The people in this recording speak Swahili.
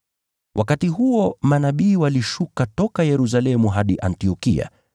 Wakati huo manabii walishuka toka Yerusalemu hadi Antiokia.